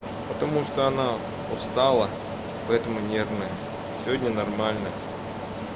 потому что она устала поэтому нервная сегодня нормально